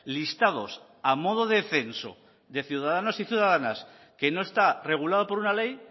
listados a modo de censo de ciudadanos y ciudadanas que no está regulado por una ley